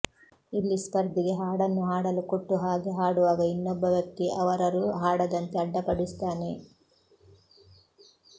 ಇಲ್ಲಿ ಸ್ಪರ್ಧಿಗೆ ಹಾಡನ್ನು ಹಾಡಲು ಕೊಟ್ಟು ಹಾಗೆ ಹಾಡುವಾಗ ಇನ್ನೊಬ್ಬ ವ್ಯಕ್ತಿ ಅವರರು ಹಾಡದಂತೆ ಅಡ್ಡಿಪಡಿಸುತ್ತಾನೆ